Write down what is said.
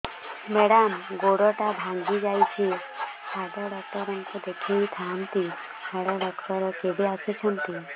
madam ଗୋଡ ଟା ଭାଙ୍ଗି ଯାଇଛି ହାଡ ଡକ୍ଟର ଙ୍କୁ ଦେଖାଇ ଥାଆନ୍ତି ହାଡ ଡକ୍ଟର କେବେ ଆସୁଛନ୍ତି